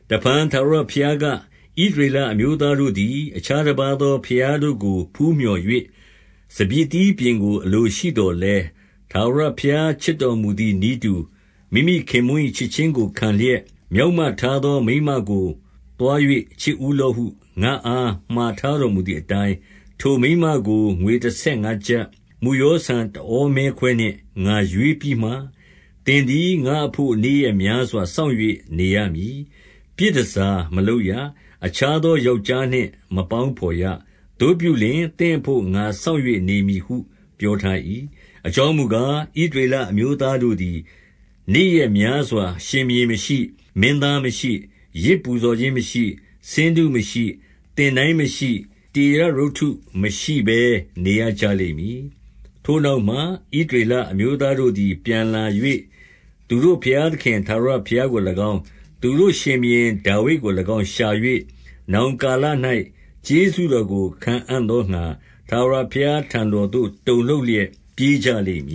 တဖန် ထာဝရဘုရားက၊ ဣသရေလအမျိုးသား တို့သည် အခြားတပါးသော ဘုရားတို့ကို ဖူးမြော်၍၊ စပျစ် သီးပျဉ်ကို အလိုရှိသော်လည်း ထာဝရဘုရား ချစ်တော်မူ သည်နည်းတူ၊ မိမိခင်ပွန်း၏ ချစ်ခြင်းကို ခံလျက် မျောက်မ ထားသော မိန်းမကို သွား၍ ချစ်ဦးလော့ဟု ငါ့အား မှာထားတော်မူသည်အတိုင်း၊ ထိုမိန်းမကို ငွေတဆယ်ငါးကျပ်၊ မုယောဆန် တဟောမဲခွဲနှင့် ငါရွေးပြီးမှ၊ သင်သည်ငါ့အဘို့ နေ့ရက်များစွာ စောင့်၍ နေရမည်။ ပြည်တန်ဆာ မလုပ်ရ။ အခြားသော ယောက်ျားနှင့် မပေါင်းဘော်ရ။ သို့ပြုလျှင်၊ သင့်အဘို့ ငါစောင့်၍ နေမည်ဟု ပြောထား၏။ အကြောင်းမူကား၊ ဣသရေလအမျိုးသားတို့ သည် နေ့ရက်များစွာ ရှင်ဘုရင်မရှိ၊ မင်းသားမရှိ၊ ယဇ် ပူဇော်ခြင်းမရှိ၊ ဆင်းတုမရှိ၊ သင်တိုင်းမရှိ၊ တေရပ်ရုပ်တု မရှိဘဲနေရကြလိမ့်မည်။ ထိုနောက်မှ ဣသရေလ အမျိုးသားတို့သည် ပြန်လာ၍၊ သူတို့ဘုရားသခင် ထာဝရဘုရားကို၎င်း၊ သူတို့ရှင်ဘုရင်ဒါဝိဒ်ကို၎င်း ရှာ၍၊ နောင်ကာလ၌ ကျေးဇူးတော်ကို ခံအံ့သောငှါ၊ ထာဝရ ဘုရားထံတော်သို့ တုန်လှုပ်လျက် ပြေးကြလိမ့်မ